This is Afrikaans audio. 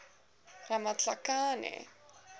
ramatlakane